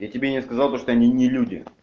я тебе не сказал то что они не люди